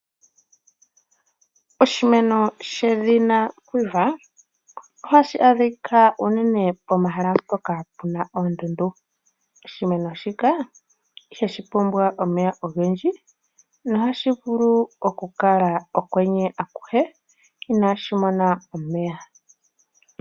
Oshimeno shedhina Kwiver ohashi adhika unene pomahala mpoka puna oondundu. Oshimeno shika ihashi pumbwa omeya ogendji na ohashi vulu oku kala okwenye akuhe . Inaashi mona omeya.